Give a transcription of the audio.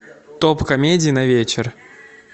топ комедий на вечер